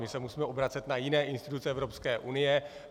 My se musíme obracet na jiné instituce Evropské unie.